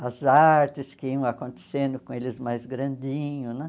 as artes que iam acontecendo com eles mais grandinho, né?